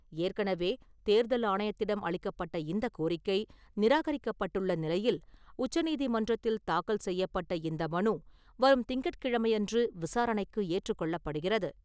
ஏற்கனவே, தேர்தல் ஆணையத்திடம் அளிக்கப்பட்ட இந்த கோரிக்கை, நிராகரிக்கப்பட்டுள்ள நிலையில் உச்சநீதிமன்றத்தில் தாக்கல் செய்யப்பட்ட இந்த மனு வரும் திங்கட்கிழமையன்று விசாரணைக்கு ஏற்றுக் கொள்ளப்படுகிறது.